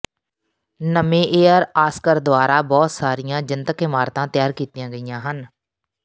Niemeyer Oscar ਦੁਆਰਾ ਬਹੁਤ ਸਾਰੀਆਂ ਜਨਤਕ ਇਮਾਰਤਾਂ ਤਿਆਰ ਕੀਤੀਆਂ ਗਈਆਂ ਸਨ